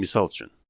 Misal üçün.